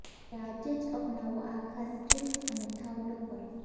ત્યારે આજે જ અપનાવો આ ખાસ ટ્રિક્સ અને થાવ ટોપર